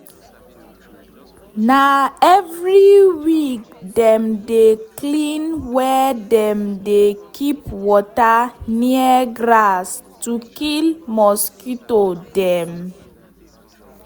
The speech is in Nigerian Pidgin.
na every week dem dey clean where dem dey keep water near grass to kill mosquito dem.